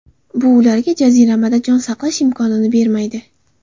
Bu ularga jaziramada jon saqlash imkonini bermaydi.